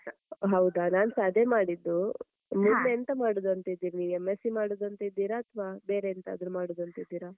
ಹೌದಾ ನಾನ್ಸ ಅದೇ ಮಾಡಿದ್ದು ಮುಂದೆ ಎಂತ ಮಾಡುದಂತ ಇದ್ದೀರಿ ನೀವ್? M.sc ಮಾಡುದಂತ ಇದ್ದೀರಾ ಅಥ್ವಾ ಬೇರೆ ಎಂತಾದ್ರೂ ಮಾಡುದಂತ ಇದ್ದೀರಾ?